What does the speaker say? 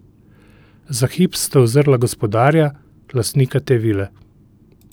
Za hip sta uzrla gospodarja, lastnika te vile.